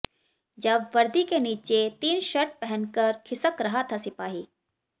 जब वर्दी के नीचे तीन शर्ट पहनकर खिसक रहा था सिपाही